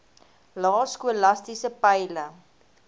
lae skolastiese peile